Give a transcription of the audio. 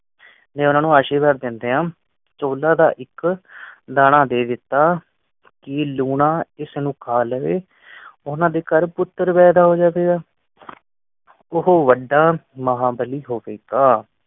ਓਨਾ ਨੂੰ ਆਸ਼ੀਰਵਾਦ ਦਿੰਦੇ ਹਨ ਚੌਲਾ ਆ। ਚੌਲਾ ਦਾ ਇਕ ਦਾਣਾ ਦੇ ਦਿੱਤਾ ਕਿ ਲੂਣਾ ਇਸ ਨੂੰ ਖਾ ਲਵੇ ਓਹਨਾ ਦੇ ਘਰ ਪੁੱਤਰ ਪੈਦਾ ਹੋ ਜਾਵੇਗਾ। ਤੋਂ ਵੱਡਾ ਮਹਾਬਲੀ ਹੋਵੇਗਾ।